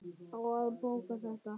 Á að bóka þetta?